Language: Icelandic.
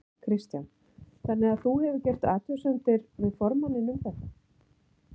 Kristján: Þannig að þú hefur gert athugasemdir við formanninn um þetta?